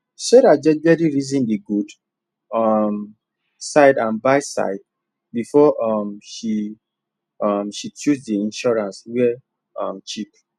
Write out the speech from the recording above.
sarah jejely reason the good um side and badside before um she um she choose the insurance wey um cheap